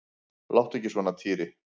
Láttu ekki svona Týri.